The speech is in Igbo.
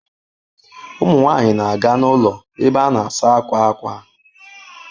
Ụmụ nwanyị na-aga n'ụlọ ebe a na-asa akwa ákwà.